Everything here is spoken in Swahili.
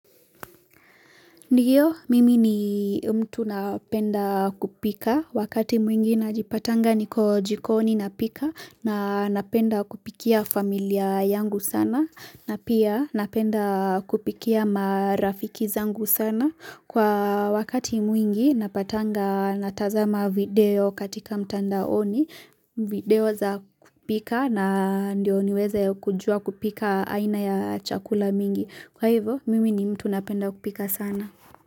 Ndio mimi ni mtu napenda kupika wakati mwingi najipata niko jikoni napika na napenda kupikia familia yangu sana na pia napenda kupikia marafiki zangu sana. Kwa wakati mwingi napatanga natazama video katika mtandaoni video za kupika na ndio niweze kujua kupika aina ya chakula mingi. Kwa hivyo mimi ni mtu napenda kupika sana.